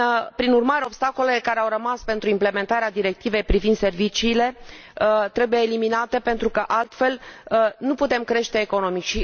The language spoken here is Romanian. Prin urmare, obstacolele care au rămas pentru implementarea Directivei privind serviciile trebuie eliminate pentru că, altfel, nu putem crește economic.